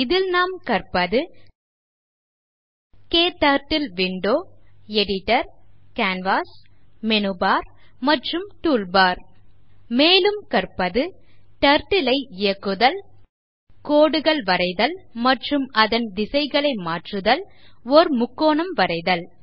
இதில் நாம் கற்பது க்டர்ட்டில் window editor canvas menu bar மற்றும் டூல்பார் மேலும் கற்பது Turtle ஐ இயக்குதல் கோடுகள் வரைதல் மற்றும் அதன் திசைகளை மாற்றுதல் ஓர் முக்கோணம் வரைதல்